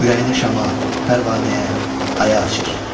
Ürəyini şama, pərvanəyə, aya açır.